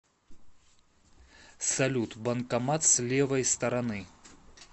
салют банкомат с левой стороны